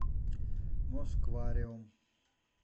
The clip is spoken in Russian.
москвариум